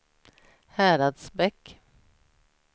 Häradsbäck